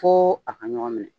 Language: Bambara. Fo a ka ɲɔgɔn minɛ